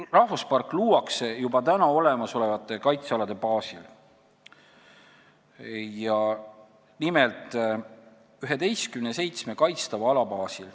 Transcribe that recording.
Rahvuspark luuakse juba olemasolevate kaitsealade baasil, nimelt üheteistkümne kaitstava ala baasil.